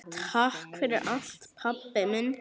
Takk fyrir allt, pabbi minn.